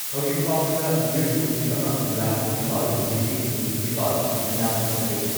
ꯍꯧꯖꯤꯛ ꯐꯥꯥꯎꯕꯗ ꯃꯤꯑꯣꯏ ꯀꯣꯇꯤ ꯑꯃ ꯂꯥꯈ ꯅꯤꯄꯥꯜ ꯂꯤꯁꯤꯡ ꯍꯨꯝꯐꯨ ꯅꯤꯄꯥꯜ ꯅꯥꯕ ꯐꯈ꯭ꯔꯦ ꯫